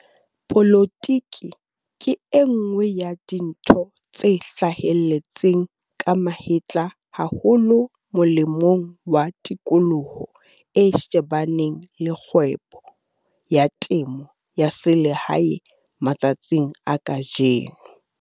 Polotike ke e nngwe ya dintho tse hlahelletseng ka mahetla haholo molemong wa tikoloho e shebaneng le kgwebo ya temo ya selehae matsatsing a kajeno.